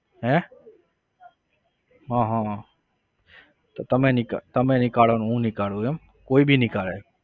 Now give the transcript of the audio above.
હે હા હા હા તો તમે નીકાળો તમે નિકાળો હું નીકાળું એમ કોઈ भी નીકાળે?